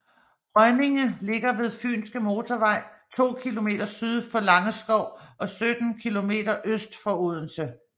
Rønninge ligger ved Fynske Motorvej to kilometer syd for Langeskov og 17 kilometer øst for Odense